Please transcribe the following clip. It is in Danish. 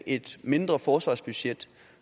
et mindre forsvarsbudget